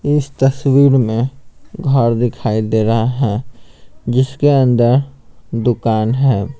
इस तस्वीर में घर दिखाई दे रहा है जिसके अंदर दुकान है।